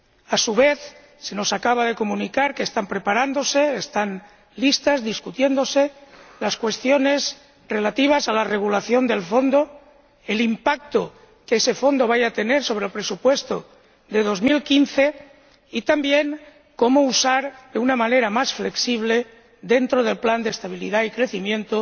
A su vez, se nos acaba de comunicar que están preparándose —están listas, discutiéndose— las cuestiones relativas a la regulación del Fondo, el impacto que ese Fondo va a tener sobre el presupuesto de 2015, y también cómo usar, de una manera más flexible, dentro del Pacto de Estabilidad y Crecimiento,